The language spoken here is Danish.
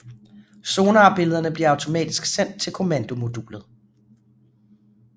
Sonarbillederne bliver automatisk sendt til kommandomodulet